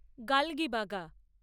Galgibaga